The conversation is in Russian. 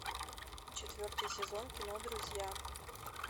четвертый сезон кино друзья